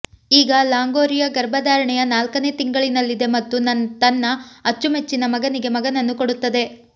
ಈಗ ಲಾಂಗೋರಿಯಾ ಗರ್ಭಧಾರಣೆಯ ನಾಲ್ಕನೇ ತಿಂಗಳಿನಲ್ಲಿದೆ ಮತ್ತು ತನ್ನ ಅಚ್ಚುಮೆಚ್ಚಿನ ಮಗನಿಗೆ ಮಗನನ್ನು ಕೊಡುತ್ತದೆ